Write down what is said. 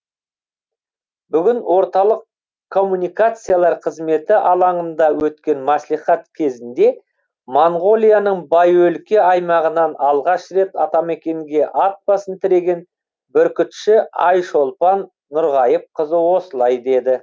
бүгін орталық коммуникациялар қызметі алаңында өткен мәслихат кезінде моңғолияның бай өлке аймағынан алғаш рет атамекенге ат басын тіреген бүркітші айшолпан нұрғайыпқызы осылай деді